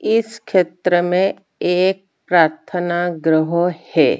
इस खेत्र में एक प्रार्थना ग्रह हे ।